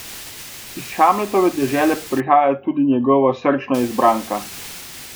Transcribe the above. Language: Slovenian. Iz Hamletove dežele pa prihaja tudi njegova srčna izbranka.